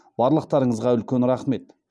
барлықтарыңызға үлкен рахмет